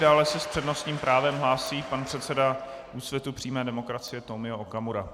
Dále se s přednostním právem hlásí pan předseda Úsvitu přímé demokracie Tomio Okamura.